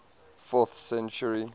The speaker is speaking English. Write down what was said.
fourth century